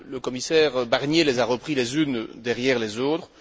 Le commissaire Barnier les a reprises les unes derrière les autres.